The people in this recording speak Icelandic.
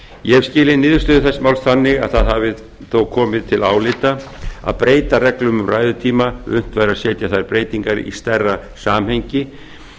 ég hef skilið niðurstöðu þess máls þannig að það hafi þó komið til álita að breyta reglum um ræðutíma ef unnt væri að setja þær breytingar í stærra samhengi